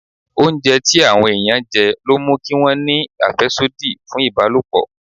Oúnjẹ tí àwọn ẹ̀yàn jẹ ló mú kí wọn ní àfẹ́sódì fún ìbálòpọ̀.